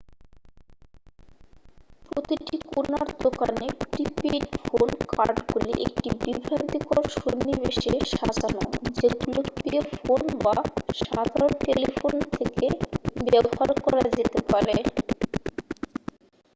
প্রতিটি কোণার দোকানে প্রি-পেইড ফোন কার্ডগুলি একটি বিভ্রান্তিকর সন্নিবেশে সাজানো যেগুলো পে ফোন বা সাধারণ টেলিফোন থেকে ব্যবহার করা যেতে পারে